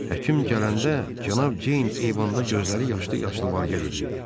Həkim gələndə cənab Ceyn eyvanda gözləri yaşlı-yaşlı var-gəl eləyirdi.